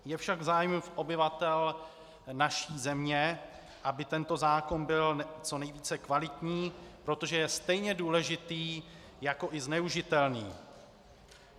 Je však v zájmu obyvatel naší země, aby tento zákon byl co nejvíce kvalitní, protože je stejně důležitý jako i zneužitelný.